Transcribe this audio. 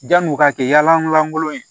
Janni u ka kɛ yala lankolon ye